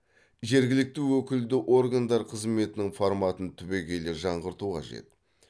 жергілікті өкілді органдар қызметінің форматын түбегейлі жаңғырту қажет